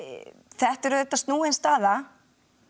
þetta er snúin staða